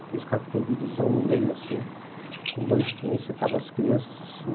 Aqueles carros que tem divisão no meio assim, com banquinho, sentavam as crianças assim.